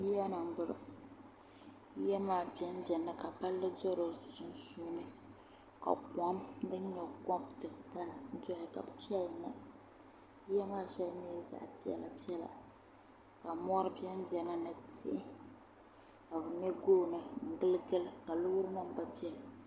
yiya ni m-bɔŋɔ yiya maa bɛnbɛnimi ka palli do di sunsuuni ka kom din nyɛ ko' titali doya ka piɛli na yiya maa shɛli nyɛla zaɣ' piɛlapiɛla ka mɔri bɛnbɛni ni tihi ka bɛ me gooni n-giligili ka loorinima gba bɛni